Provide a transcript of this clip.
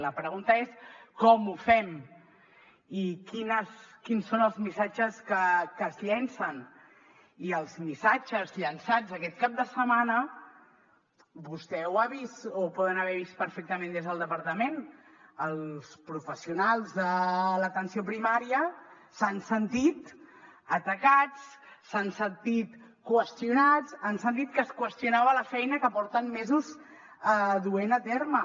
la pregunta és com ho fem i quins són els missatges que es llancen i els missatges llançats aquest cap de setmana vostè ho ha vist o ho poden haver vist perfectament des del departament els professionals de l’atenció primària s’han sentit atacats s’han sentit qüestionats han sentit que es qüestionava la feina que porten mesos duent a terme